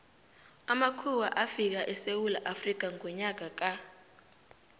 amakhuwa afika esewula afrikha ngonyaka ka